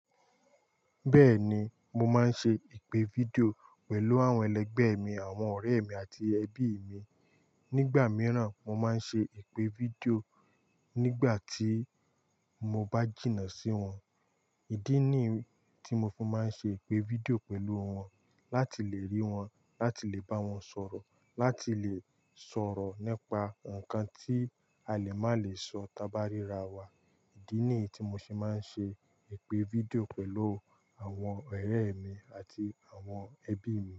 Bẹ́ẹ̀ni, mo máa ń ṣe ìpè fídíò pẹ̀lú àwọn ẹlẹgbẹ́ mi, àwọn ọ̀rẹ́ mi àti ẹbí mi. Nígbà mìíràn, mo máa ń ṣe ìpè fídíò nígbà tí mo bá jìnnà sí wọn. Ìdí ní tí mo fi máa ń ṣe ìpè fídíò pẹ̀lú wọn láti lè rí wọn, láti lè bá wọn sọ̀rọ̀, láti lè sọ̀rọ̀ nípa nǹkan tí a lè má lè sọ tá bá ríra wa. Ìdí ni tí mo ṣe máa ń ṣe ìpè fídíò pẹ̀lú àwọn ọ̀rẹ́ mi àti àwọn ẹbí mi.